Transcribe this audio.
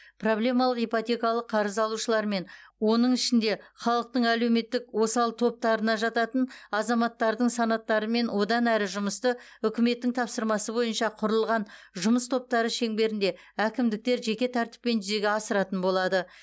проблемалық ипотекалық қарыз алушылармен оның ішінде халықтың әлеуметтік осал топтарына жататын азаматтардың санаттарымен одан әрі жұмысты үкіметтің тапсырмасы бойынша құрылған жұмыс топтары шеңберінде әкімдіктер жеке тәртіппен жүзеге асыратын болады